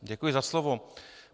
Děkuji za slovo.